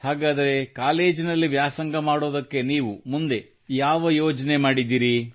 ಹಾಗಾದರೆ ಕಾಲೇಜಿನಲ್ಲಿ ವ್ಯಾಸಂಗ ಮಾಡುವುದಕ್ಕಾಗಿ ನೀವು ಮುಂದೆ ಯಾವ ಯೋಜನೆ ಮಾಡಿದ್ದೀರಿ